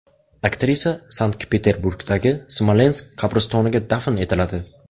Aktrisa Sankt-Peterburgdagi Smolensk qabristoniga dafn etiladi.